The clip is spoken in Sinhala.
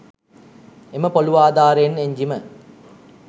එම පොලූ ආධාරයෙන් එන්ජිම